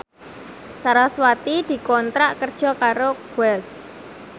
sarasvati dikontrak kerja karo Guess